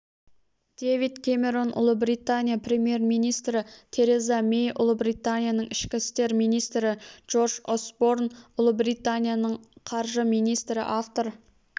дэвид кэмерон ұлыбритания премьер-министрі тереза мэй ұлыбританияның ішкі істер министрі джордж осборн ұлыбританияның ққаржы министрі автор